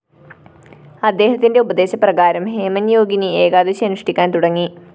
അദ്ദേഹത്തിന്റെ ഉപദേശപ്രകാരം ഹേമന്‍ യോഗിനി ഏകാദശി അനുഷ്ഠിക്കാന്‍ തുടങ്ങി